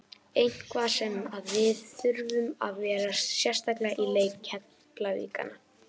Eitthvað sem að þið þurfið að varast sérstaklega í leik Keflvíkingana?